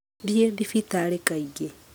Thiĩ thibitarĩ kaingĩ.